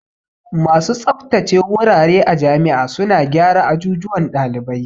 Masu tsabtace wurare a jami'a suna gyara ajujuwan ɗalibai